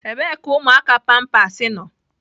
Ebee ka ụmụaka pampers nọ?